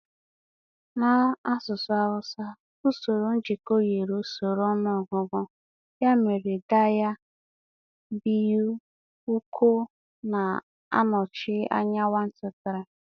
N'asụsụ Hausa, usoro ngụkọ yiri usoro ọnụọgụgụ, ya mere daya, biyu, uku na-anọchi anya 1, 2, 3.